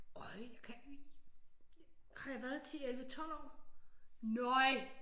Har jeg været 10 11 12 år nøj